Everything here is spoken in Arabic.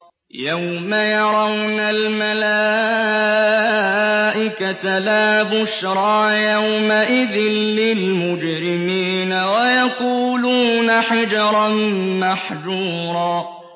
يَوْمَ يَرَوْنَ الْمَلَائِكَةَ لَا بُشْرَىٰ يَوْمَئِذٍ لِّلْمُجْرِمِينَ وَيَقُولُونَ حِجْرًا مَّحْجُورًا